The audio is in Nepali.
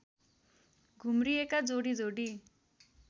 घुम्रिएका जोडी जोडी